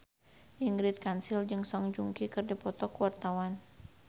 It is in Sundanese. Ingrid Kansil jeung Song Joong Ki keur dipoto ku wartawan